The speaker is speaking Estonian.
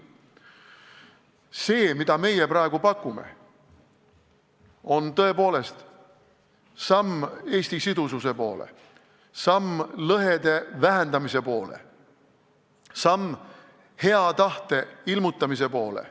See, mida meie praegu pakume, on tõepoolest samm Eesti sidususe poole, samm lõhede vähendamise poole, samm hea tahte ilmutamise poole.